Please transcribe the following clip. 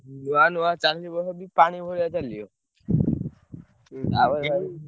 ନୁଆ ନୁଆ ଚାଲିବ ଯଦି ପାଣି ଭଳିଆ ଚାଲିବ। ଆଉ ।